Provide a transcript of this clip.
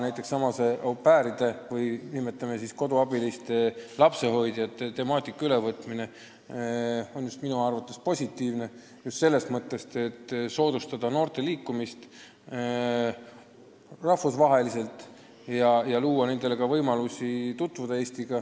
Näiteks nendesamade au pair'ide ehk lapsehoidjate-koduabiliste regulatsiooni ülevõtmine on minu arvates positiivne, just selles mõttes, et see soodustab noorte liikumist rahvusvaheliselt ja loob nendele lisavõimalusi Eestiga tutvuda.